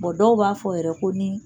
dɔw b'a fɔ yɛrɛ ko ni